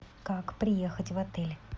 как приехать в отель